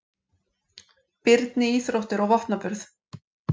Birni íþróttir og vopnaburð.